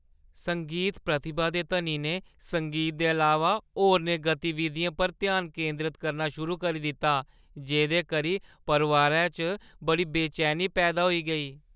संगीत प्रतिभा दे धनी ने संगीत दे अलावा होरनें गतिविधियें पर ध्यान केंदरत करना शुरू करी दित्ता जेह्दे करी परोआरै च बड़ी बेचैनी पैदा होई गेई।